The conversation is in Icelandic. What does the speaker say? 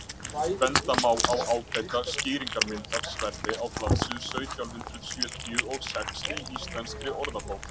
benda má á ágæta skýringarmynd af sverði á blaðsíða sautján hundrað sjötíu og sex í íslenskri orðabók